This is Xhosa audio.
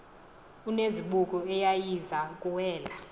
onezibuko eyayiza kuwela